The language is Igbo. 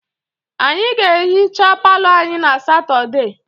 Anyị ga-ehicha palọ anyị na Satọdee